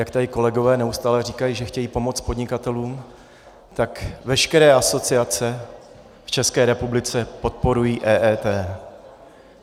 Jak tady kolegové neustále říkají, že chtějí pomoct podnikatelům, tak veškeré asociace v České republice podporují EET.